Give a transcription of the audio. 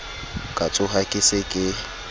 ka tshoha ke se ke